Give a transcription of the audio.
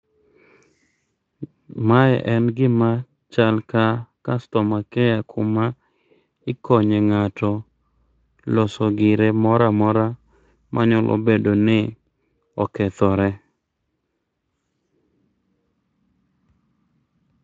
Mae en gima chal ka customer care kuma ikonye ng'ato loso gire moramora manya bedo ni okethore